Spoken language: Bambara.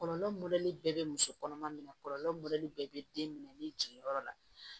Kɔlɔlɔ mɔdɛli bɛɛ bɛ muso kɔnɔma minɛ kɔlɔlɔ mɔdɛli bɛɛ bɛ den minɛ ni jiginyɔrɔ la